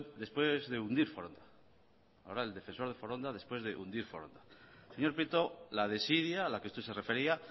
después de hundir foronda señor prieto la desidia a la que usted se refería